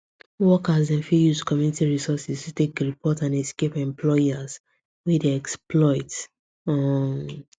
workers dem fit use community resources to take report and escape employers wey dey exploit um